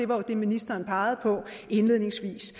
var det ministeren indledningsvis